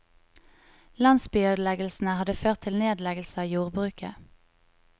Landsbyødeleggelsene hadde ført til nedleggelse av jordbruket.